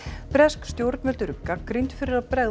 bresk stjórnvöld eru gagnrýnd fyrir að bregðast